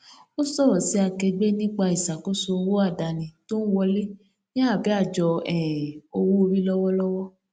ó sọrọ sí akẹgbẹ nípa ìṣàkóso owó àdáni tó n wọlé ní abẹ àjọ um owó orí lọwọlọwọ